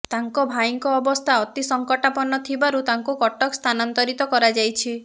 ତାଙ୍କ ଭାଇଙ୍କ ଅବସ୍ଥା ଅତି ସଂକଟାପନ୍ନ ଥିବାରୁ ତାଙ୍କୁ କଟକ ସ୍ଥାନାନ୍ତରିତ କରାଯାଇଛି